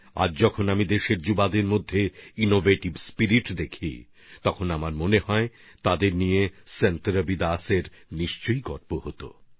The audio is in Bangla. আজ যখন আমি দেশের নবীন প্রজন্মের মধ্যে উদ্ভাবনী আবেগ দেখতে পাই তাতে আমার মনে হয় আমাদের নবীন প্রজন্মের জন্য সন্ত রবিদাসজিও অবশ্যই গর্বিত হতেন